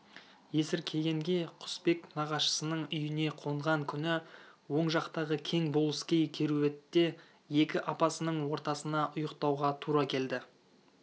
есіркегенге құсбек нағашысының үйіне қонған күні оң жақтағы кең болыскей керуетте екі апасының ортасына ұйықтауға тура келді